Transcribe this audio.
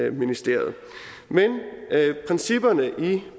i ministeriet principperne i